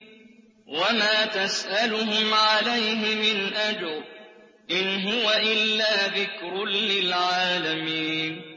وَمَا تَسْأَلُهُمْ عَلَيْهِ مِنْ أَجْرٍ ۚ إِنْ هُوَ إِلَّا ذِكْرٌ لِّلْعَالَمِينَ